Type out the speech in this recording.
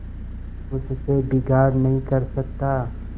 उससे बिगाड़ नहीं कर सकता